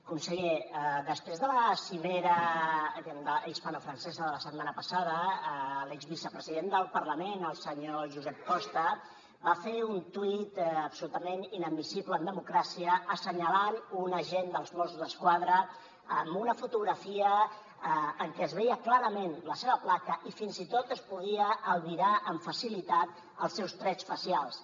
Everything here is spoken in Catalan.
conseller després de la cimera hispanofrancesa de la setmana passada l’ex vicepresident del parlament el senyor josep costa va fer un tuit absolutament inadmissible en democràcia assenyalant un agent dels mossos d’esquadra amb una fotografia en què es veia clarament la seva placa i fins i tot es podien albirar amb facilitat els seus trets facials